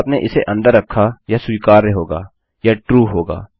यदि आपने उसे अंदर रखा वह स्वीकार्य होगा वह ट्रू होगा